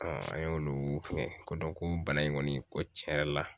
an y'olu fɛn ko dɔn ko bana in kɔni ko tiɲɛ yɛrɛ la